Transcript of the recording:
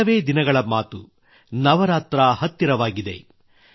ಕೆಲವೇ ದಿನಗಳ ಮಾತು ನವರಾತ್ರಿ ಹತ್ತಿರವಾಗುತ್ತಿದೆ